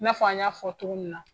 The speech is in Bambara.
I n'a fɔ an y'a fɔ cogo min na.